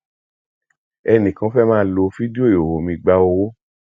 ẹnìkan fẹ máa lo fídíò ìhòhò mi gba owó